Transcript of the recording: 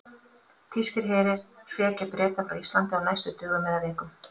Þýskir herir hrekja Breta frá Íslandi á næstu dögum eða vikum.